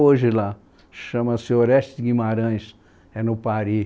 hoje lá, chama-se Orestes Guimarães, é no Pari